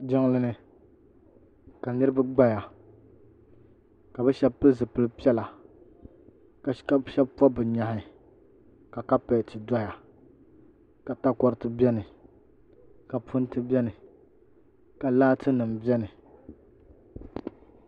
Jiŋlini ka niriba gbaya ka bɛ sheba pili zipilpiɛla ka sheba pobi bɛ nyɛhi ka kapeti doya ka takoriti biɛni ka punti biɛni ka laati nima biɛni.